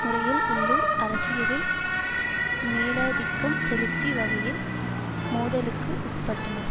முறையில் உள்ளூர் அரசியலில் மேலாதிக்கம் செலுத்தி வகையில் மோதலுக்கு உட்பட்டனர்